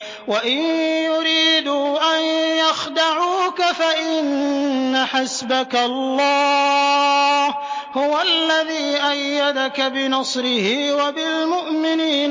وَإِن يُرِيدُوا أَن يَخْدَعُوكَ فَإِنَّ حَسْبَكَ اللَّهُ ۚ هُوَ الَّذِي أَيَّدَكَ بِنَصْرِهِ وَبِالْمُؤْمِنِينَ